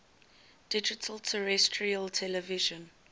digital terrestrial television